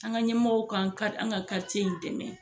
An ka ɲɛmɔgɔw k'an ka an ka in dɛmɛ.